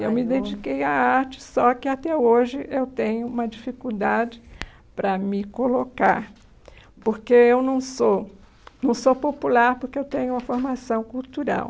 Eu me dediquei à arte, só que até hoje eu tenho uma dificuldade para me colocar, porque eu não sou não sou popular, porque eu tenho uma formação cultural.